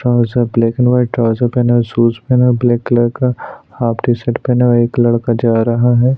Trouser black and white trouser पहना हुआ है शूज पहना हुआ है ब्लैक कलर का हाफ टीशर्ट पहना हुआ है एक लड़का जा रहा है।